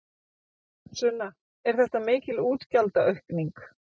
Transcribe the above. Sunna: Er þetta mikil útgjaldaaukning?